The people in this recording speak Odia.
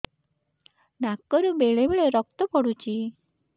ନାକରୁ ବେଳେ ବେଳେ ରକ୍ତ ପଡୁଛି